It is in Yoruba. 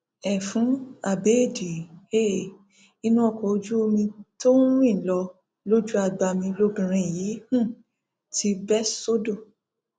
ẹfun abẹẹdì um inú ọkọ ojú omi tó ń rìn lọ lójú agbami lobìnrin yìí um ti bẹ sódò